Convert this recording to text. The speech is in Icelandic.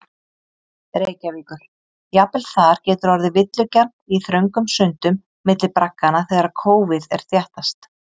Reykjavíkur, jafnvel þar getur orðið villugjarnt í þröngum sundum milli bragganna þegar kófið er þéttast.